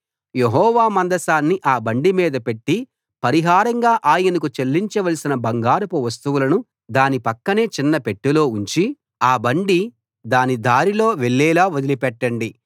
యెహోవా మందసాన్ని ఆ బండిమీద పెట్టి పరిహారంగా ఆయనకు చెల్లించవలసిన బంగారపు వస్తువులను దాని పక్కనే చిన్న పెట్టెలో ఉంచి ఆ బండి దాని దారిలో వెళ్ళేలా వదిలిపెట్టండి